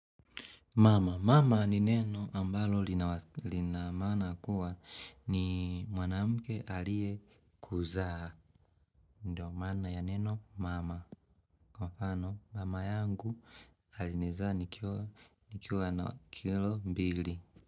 Mama. Mama ni neno ambalo linamaana kuwa ni mwanamuke alie kuzaa. Ndiyo maana ya neno mama. Kwa mfano mama yangu alinizaa nikiwa na kilo mbili.